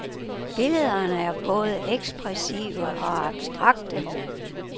Billederne er både ekspressive og abstrakte.